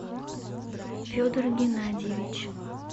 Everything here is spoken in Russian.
федор геннадьевич